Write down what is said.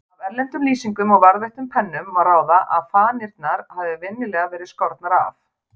Af erlendum lýsingum og varðveittum pennum má ráða að fanirnar hafi venjulega verið skornar af.